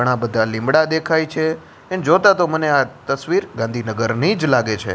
ઘણા બધા લીમડા દેખાય છે ને જોતા તો મને આ તસ્વીર ગાંધીનગરની જ લાગે છે.